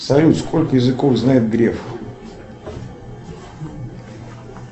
салют сколько языков знает греф